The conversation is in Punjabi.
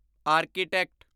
ਆਰਕੀਟੈਕਟ